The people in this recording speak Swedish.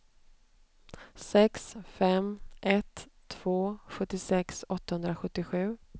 sex fem ett två sjuttiosex åttahundrasjuttiosju